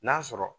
N'a sɔrɔ